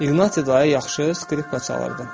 İqnati dayı yaxşı skripka çalırdı.